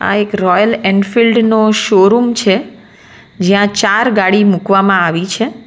આ એક royal Enfield નો શોરૂમ છે જ્યાં ચાર ગાડી મૂકવામાં આવી છે.